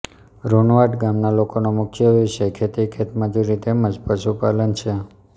રૂનવાડ ગામના લોકોનો મુખ્ય વ્યવસાય ખેતી ખેતમજૂરી તેમ જ પશુપાલન છે